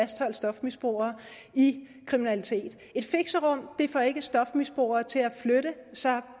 fastholde stofmisbrugere i kriminalitet et fixerum får ikke stofmisbrugere til at flytte sig